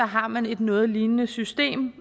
har man et noget lignende system